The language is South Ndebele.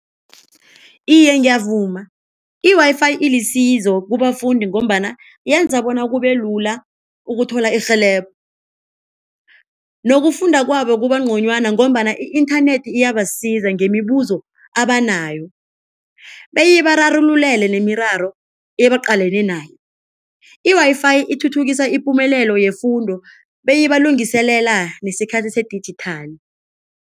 Iye, ngiyavuma, i-Wi-Fi ilisizo kubafundi ngombana yenza bona kubelula ukuthola irhelebho nokufunda kwabo kuba ngconywana ngombana i-internet iyabasiza ngemibuzo abanayo, beyibararululele nemiraro ebaqalene naye. I-Wi-Fi ithuthukisa ipumelelo yefundo beyibalungiselela nesikhathi sedijithali.